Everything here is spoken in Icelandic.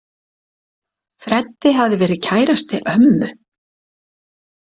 Freddi hafði verið kærasti ömmu.